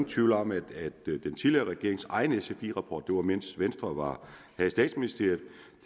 tvivl om hvad det var den tidligere regerings egen sfi rapport det var mens venstre havde statsministeriet